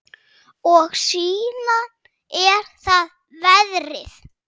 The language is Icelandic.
Og síðan er það veðrið.